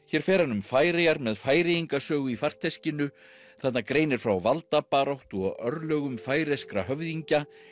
hér fer hann um Færeyjar með Færeyingasögu í farteskinu þarna greinir frá valdabaráttu og örlögum færeyskra höfðingja